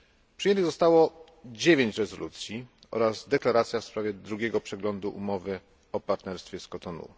Przyjętych zostało 9 rezolucji oraz deklaracja w sprawie drugiego przeglądu umowy o partnerstwie z Kotonu.